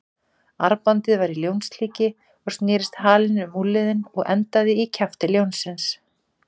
Armbandið var í ljónslíki og snerist halinn um úlnliðinn og endaði í kjafti ljónsins.